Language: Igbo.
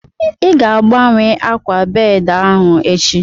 Ị ga-agbanwe ákwà bedị ahu echi